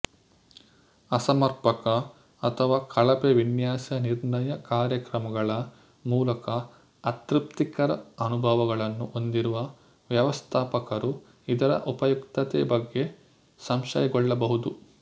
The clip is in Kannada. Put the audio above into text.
ಅಸಮರ್ಪಕ ಅಥವಾ ಕಳಪೆ ವಿನ್ಯಾಸ ನಿರ್ಣಯ ಕಾರ್ಯಕ್ರಮಗಳ ಮೂಲಕ ಅತೃಪ್ತಿಕರ ಅನುಭವಗಳನ್ನು ಹೊಂದಿರುವ ವ್ಯವಸ್ಥಾಪಕರು ಇದರ ಉಪಯುಕ್ತತೆ ಬಗ್ಗೆ ಸಂಶಯಗೊಳ್ಳಬಹುದು